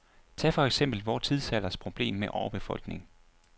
Tag for eksempel vor tidsalders problem med overbefolkning.